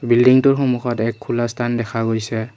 বিল্ডিংটোৰ সন্মুখত এক খোলা স্থান দেখা গৈছে।